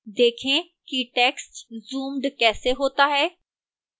देखें कि text zoomed कैसे होता है